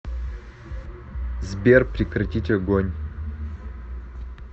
сбер прекратить огонь